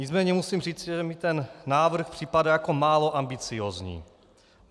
Nicméně musím říci, že mi ten návrh připadá jako málo ambiciózní.